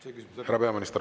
Härra peaminister, palun!